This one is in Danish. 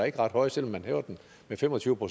ret høje selv om man hæver dem med fem og tyve